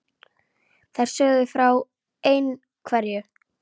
Þær sögðu frá ein- hverju.